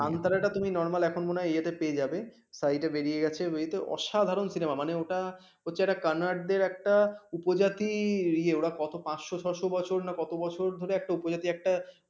Site বেরিয়ে গেছে অসাধারণ cinema নে ওটা হচ্ছে কান্নারদের একটা প্রজাতি কত পান্বস ছস বছর না কত বছর ধরে একটা উপজাতি একটা ।